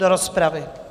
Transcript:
Do rozpravy.